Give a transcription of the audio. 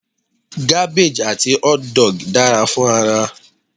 Gabbage àti hotdog dara fún ara